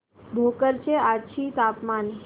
भोकर चे आजचे तापमान